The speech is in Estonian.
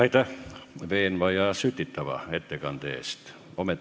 Aitäh veenva ja sütitava ettekande eest!